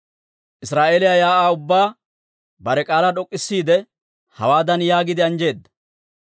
Israa'eeliyaa shiik'uwaa ubbaa bare k'aalaa d'ok'k'isiide, hawaadan yaagiide anjjeedda;